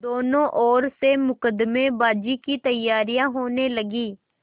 दोनों ओर से मुकदमेबाजी की तैयारियॉँ होने लगीं